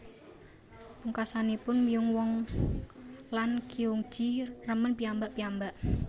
Pungkasanipun Myung woo lan Kyun ji remen piyambak piyambak